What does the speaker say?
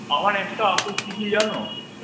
আমার একটা আপত্তি কী জানো?